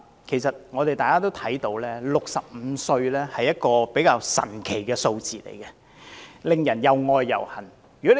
其實，大家也看到 ，65 歲是一個比較神奇的數字，令人又愛又恨。